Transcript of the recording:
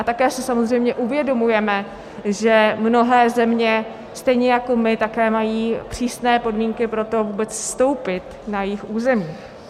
A také si samozřejmě uvědomujeme, že mnohé země stejně jako my také mají přísné podmínky pro to vůbec vstoupit na jejich území.